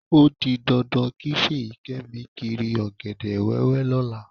Ó di dandan kí Fèyíkẹ́mi kiri ọ̀gẹ̀dẹ̀ wẹ́wẹ́ lọ́la.